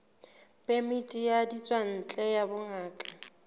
phemiti ya ditswantle ya bongaka